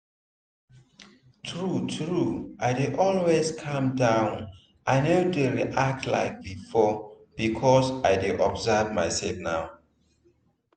true true i dey always calm down i no dey react like before because i dey observe my self now